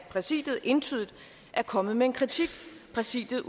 præsidiet entydigt er kommet med en kritik præsidiet